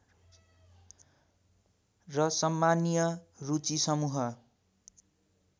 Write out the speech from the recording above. र सम्मानीय रुचि समूह